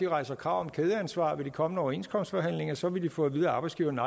rejser krav om kædeansvar ved de kommende overenskomstforhandlinger så vil de få at vide af arbejdsgiverne